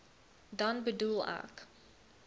dan bedoel ek